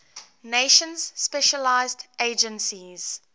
nations specialized agencies